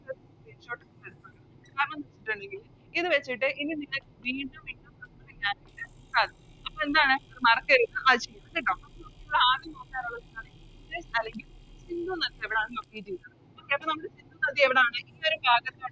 ഇത് വെച്ചിട്ട് എനി നിങ്ങക്ക് വീണ്ടും വീണ്ടും ഇൻഡസ് അല്ലെങ്കിൽ സിന്ധു നദി എവിടാണ് Locate ചെയ്യുന്നത് Okay അപ്പൊ നമുക്ക് സിന്ധു നദി എവിടാണ്